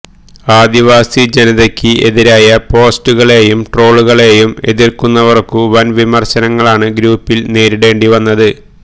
ആദിവാസി ജനതയക്ക് എതിരായ പോസ്റ്റുകളെയും ട്രോളുകളെയും എതിർത്തവർക്കും വൻ വിമർശനങ്ങളാണ് ഗ്രൂപ്പിൽ നേരിടേണ്ടി വന്നത്